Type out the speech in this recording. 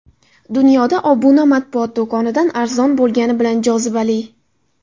Dunyoda obuna matbuot do‘konidan arzon bo‘lgani bilan jozibali.